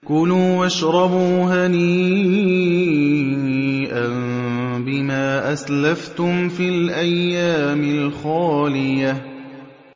كُلُوا وَاشْرَبُوا هَنِيئًا بِمَا أَسْلَفْتُمْ فِي الْأَيَّامِ الْخَالِيَةِ